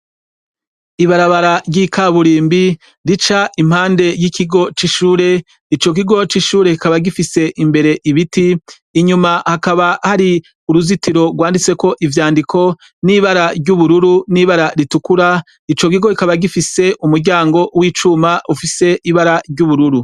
Ibarabara ry' ikaburimbi , rica impande y' ikigo c' ishure , ico kigo c' ishure kikaba gifise imbere ibiti , inyuma hakaba hari uruzitiro rwanditseko urwandiko n' ibara ry' ubururu n' ibara ritukura, ico kigo kikaba gifise umuryango w' icuma ufise ibara ry' ubururu.